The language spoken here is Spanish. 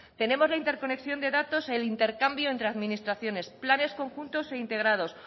tenemos la interconexión de datos el intercambio entre administraciones planes conjuntos e integrados